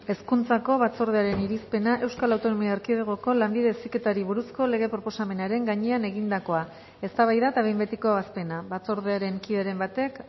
hezkuntzako batzordearen irizpena euskal autonomia erkidegoko lanbide heziketari buruzko lege proposamenaren gainean egindakoa eztabaida eta behin betiko ebazpena batzordearen kideren batek